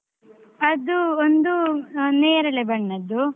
ಅದೂ ಒಂದು ನೇರಳೆ ಬಣ್ಣದ್ದು.